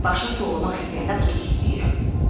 Kiminsə başını tovlamaq istəyəndə bu tustu deyirəm.